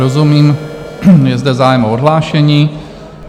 Rozumím, je zde zájem o odhlášení.